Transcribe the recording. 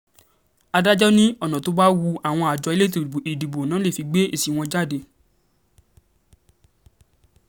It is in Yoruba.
adájọ́ ní ọ̀nà tó bá wu àjọ àjọ elétò ìdìbò ni wọ́n fi lè gbé èsì wọn jáde